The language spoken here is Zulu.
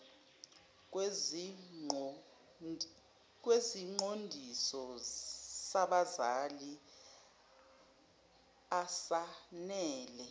kwesiqondiso sabazali asanele